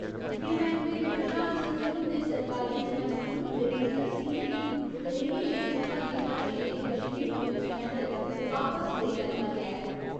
गृह मैह्‌कमे दे प्रधान सचिव हुंदे सरकारी हुक्मै मुजब, देविंदर सिंह गी दलेरी लेई दित्ता गेदा शेरे कश्मीर पुलस मैडल वापस लेई लैता गेआ ऐ।